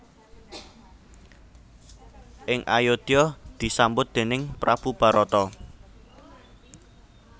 Ing Ayodya disambut déning prabu Barata